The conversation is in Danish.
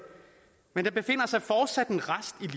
men der befinder sig fortsat en rest